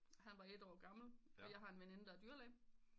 Han var et år gammel og jeg har en veninde der er dyrlæge